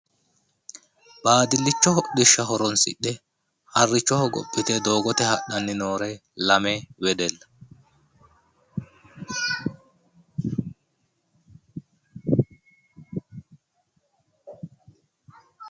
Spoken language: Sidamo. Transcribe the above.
Baadillicho hodhishsha horonsidhe harricho hogophite doogote hadhanni noore lame wedella.